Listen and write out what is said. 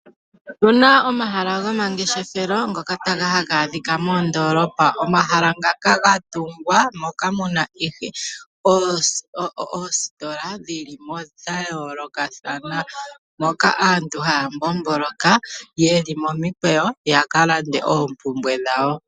Opena omahala gomangefeshelo ngoka haga adhika moondolopa. Omahala ngaka gatungwa moka muna ihe oositola dhilimo dhayoolokathana moka aantu haya mbomboloka yeli momikweyo yaka lande oompumbwe dhawo.